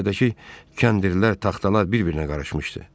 Göyərtədəki kəndirlər, taxtalar bir-birinə qarışmışdı.